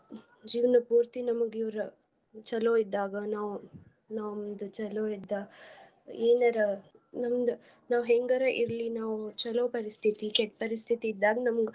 ಜೀವ್ನ ಪೂರ್ತಿ ನಮ್ಗ ಇವ್ರ ಚಲೋ ಇದ್ದಾಗ ನಾವ್. ನಮ್ದ ಚಲೋ ಇದ್ದಾಗ ಎನರಾ ಮುಂದ್ ನಾವ್ ಹೆಂಗರ ಇರ್ಲಿ ನಾವ್ ಚಲೋ ಪರಿಸ್ಥಿತಿ ಕೆಟ್ಟ ಪರಿಸ್ಥಿತಿ ಇದ್ದಾಗ್ ನಮ್ಗ.